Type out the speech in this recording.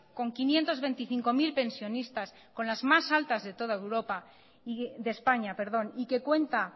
con quinientos veinticinco mil pensionistas con las más altas de españa y que cuenta